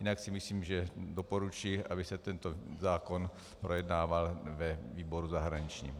Jinak si myslím, že doporučuji, aby se tento zákon projednával ve výboru zahraničním.